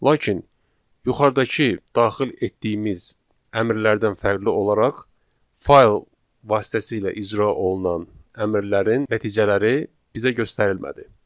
Lakin yuxarıdakı daxil etdiyimiz əmrlərdən fərqli olaraq, fayl vasitəsilə icra olunan əmrlərin nəticələri bizə göstərilmədi.